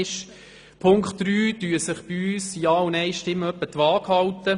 Bei Auflage 3 halten sich bei uns die Ja- und Nein-Stimmen etwa die Waage.